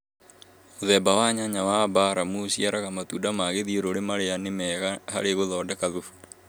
Mũthemba wa nyanya wa buramu ũciaraga matunda ma gĩthiũrũrĩ marĩa nĩ mega harĩ gũthondeka thubu